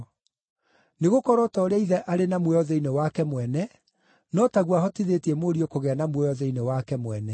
Nĩgũkorwo o ta ũrĩa Ithe arĩ na muoyo thĩinĩ wake mwene, no taguo ahotithĩtie Mũriũ kũgĩa na muoyo thĩinĩ wake mwene.